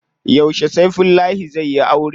Yauce Saifullahi zai yi aure?